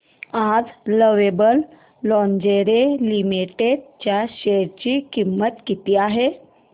आज lovable lingerie limited च्या share ची किंमत किती आहे